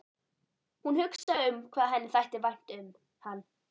Hún hugsaði um hvað henni þætti vænt um hann.